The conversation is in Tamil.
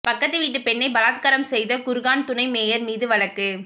பக்கத்துவீட்டு பெண்ணை பலாத்காரம் செய்த குர்கான் துணை மேயர் மீது வழக்கு